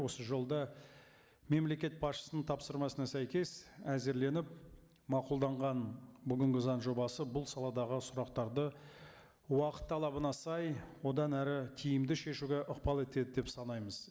осы жолда мемлекет басшысының тапсырмасына сәйкес әзірленіп мақұлданған бүгінгі заң жобасы бұл саладағы сұрақтарды уақыт талабына сай одан әрі тиімді шешуге ықпал етеді деп санаймыз